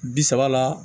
Bi saba la